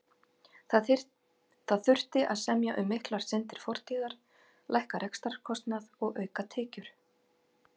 Það þurfti að semja um miklar syndir fortíðar, lækka rekstrarkostnað og auka tekjur.